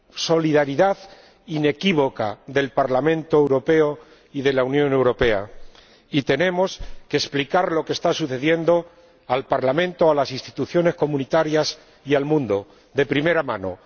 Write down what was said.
la solidaridad inequívoca del Parlamento Europeo y de la Unión Europea, y tenemos que explicar lo que está sucediendo al Parlamento, a las instituciones comunitarias y al mundo, de primera mano.